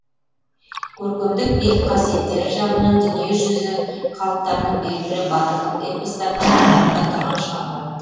көркемдік биік қасиеттері жағынан дүниежүзі халықтарының белгілі батырлық эпостарының қатарында тұрған шығарма